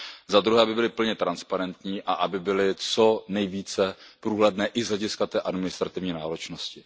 Za druhé, aby byly plně transparentní a aby byly co nejvíce průhledné i z hlediska té administrativní náročnosti.